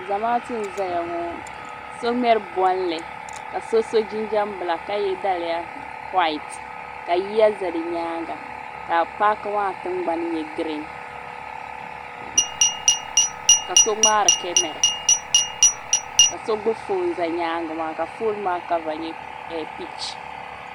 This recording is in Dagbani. Zamaatu n zaya ŋɔ so ŋmɛri bolli ka so so jinjiɛm bilaaki ka ye daliya wayiti ka yiya za di nyaanga ka paaki maa tingbani nyɛ girin ka so ŋmaari kamara ka so gbibi fooni za nyaanga maa ka fooni maa kava nyɛ pinki.